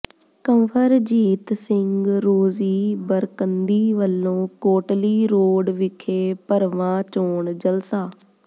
ਕੰਵਰਜੀਤ ਸਿੰਘ ਰੋਜ਼ੀ ਬਰਕੰਦੀ ਵੱਲੋਂ ਕੋਟਲੀ ਰੋਡ ਵਿਖੇ ਭਰਵਾਂ ਚੋਣ ਜਲਸਾ